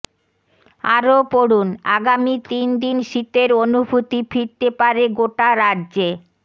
আরও পড়ুন আগামী তিন দিন শীতের অনুভূতি ফিরতে পারে গোটা রাজ্যে